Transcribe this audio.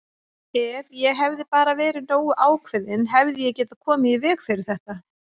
Ef ég hefði bara verið nógu ákveðinn hefði ég getað komið í veg fyrir þetta!